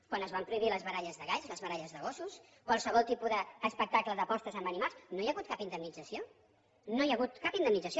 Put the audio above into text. quan es van prohibir les baralles de galls les baralles de gossos qualsevol tipus d’espectacle d’apostes amb animals no hi ha hagut cap indemnització no hi ha hagut cap indemnització